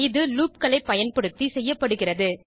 இது loopகளை பயன்படுத்தி செய்யப்படுகிறுது